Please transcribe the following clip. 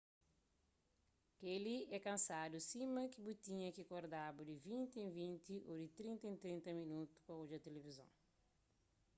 kel-li é kansadu sima ki bu tinha ki kordaba di vinti en vinti ô di trinta en trinta minotu pa odja tilivizon